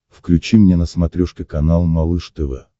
включи мне на смотрешке канал малыш тв